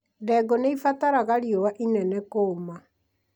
Ndengũ nĩibataraga riũa inene kũma